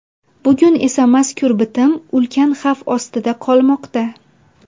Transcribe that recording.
Bugun esa mazkur bitim ulkan xavf ostida qolmoqda.